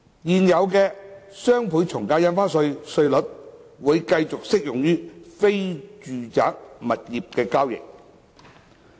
現有的雙倍從價印花稅稅率會繼續適用於非住宅物業交易。